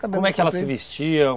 Como é que ela se vestia?